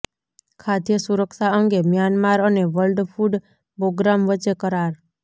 ખાદ્ય સુરક્ષા અંગે મ્યાનમાર અને વર્લ્ડ ફૂડ પ્રોગ્રામ વચ્ચે કરાર